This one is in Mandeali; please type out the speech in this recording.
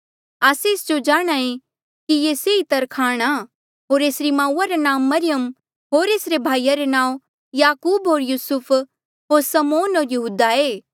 आस्से एस जो जाणहां ऐें कि ये सेई तरखाण आ होर एसरी माऊआ रा नांऊँ मरियम होर एसरे भाईया रे नांऊँ याकूब होर यूसुफ होर समौन होर यहूदा ऐें